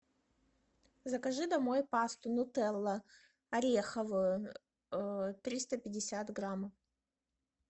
закажи домой пасту нутелла ореховую триста пятьдесят грамм